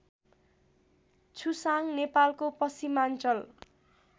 छुसाङ नेपालको पश्चिमाञ्चल